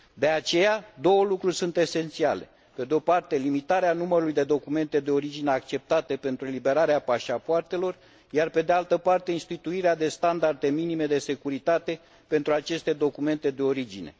De aceea, două lucruri sunt esențiale pe de o parte, limitarea numărului de documente de origine acceptate pentru eliberarea pașapoartelor, iar pe de altă parte instituirea de standarde minime de securitate pentru aceste documente de origine.